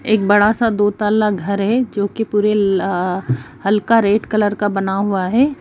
एक बड़ा- सा दो तल्ला घर है जोकि पुरे अ हल्का रेड कलर का बना हुआ हैं।